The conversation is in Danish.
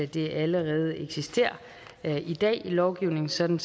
det allerede eksisterer i dag i lovgivningen sådan